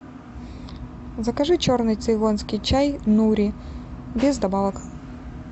закажи черный цейлонский чай нури без добавок